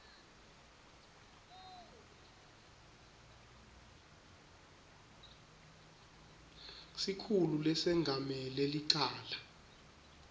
sikhulu lesengamele licala